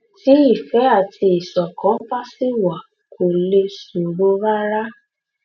tí ìfẹ àti ìṣọkan bá ṣì wà kò lè ṣòro rárá